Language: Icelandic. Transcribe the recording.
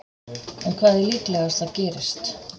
En hvað er líklegast að gerist?